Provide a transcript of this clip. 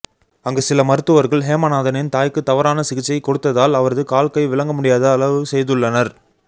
அங்கு சில மருத்துவர்கள் ஹேமநாதனின் தாய்க்கு தவறான சிகிச்சை கொடுத்ததால் அவரது கால் கை விளங்கமுடியாது அளவு செய்துள்ளனர்